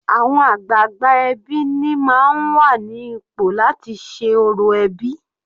Àwọn àgbààgbà ẹbí ni máa ń wà ní ipò láti ṣe orò ẹbí.